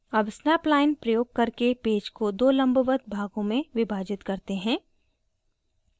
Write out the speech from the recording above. अब snap line प्रयोग करके पेज को दो लंबवत भागों में विभाजित करते हैं